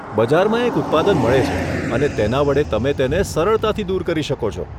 બજારમાં એક ઉત્પાદન મળે છે, અને તેના વડે તમે તેને સરળતાથી દૂર કરી શકો છો.